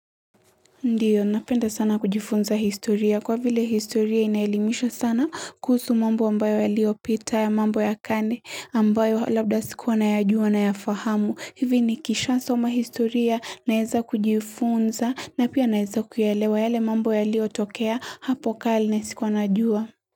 Ndiyo, napenda sana kujifunza historia. Kwa vile historia inaelimisha sana kuhusu mambo ambayo yaliyopita mambo ya kale ambayo labda sikuwa nayajua na kuyafahamu. Hivi nikisha soma historia naweza kujifunza na pia naweza kuelewa yale mambo yaliyotokea hapo kale na sikuwa najua.